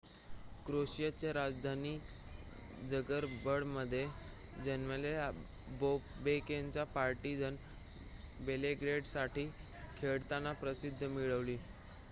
क्रोएशियाची राजधानी झगरेबमध्ये जन्मलेल्या बॉबेकने पार्टीझन बेलग्रेडसाठी खेळताना प्रसिद्धी मिळवली